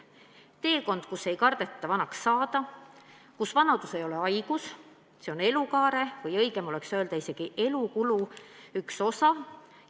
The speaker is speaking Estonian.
" See on teekond, kus ei kardeta vanaks saada, kus vanadus ei ole haigus, see on elukaare või õigem oleks öelda, isegi elukulu üks osa.